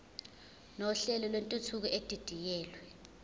nohlelo lwentuthuko edidiyelwe